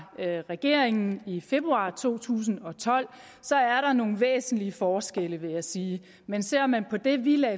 regeringen i februar to tusind og tolv er der nogle væsentlige forskelle vil jeg sige men ser man på det vi